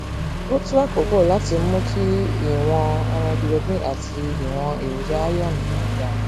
ó tó àkókò láti mú kí ìwọn hemoglobin àti ìwọn èròjà iron rẹ ga